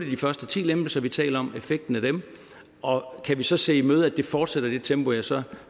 de første ti lempelser vi taler om og effekten af dem og kan vi så se i møde at det fortsætter i det tempo ja så